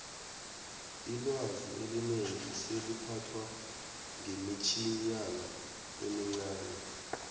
ilwazi elinengi seliphathwa ngemitjhinyana emincani